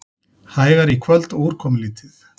Hægari í kvöld og úrkomulítið